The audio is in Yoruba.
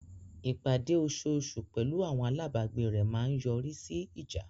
Ìpàdé osoosù pẹ̀lú àwọn alábàgbé rẹ̀ máa ń yọrí sí ìjà.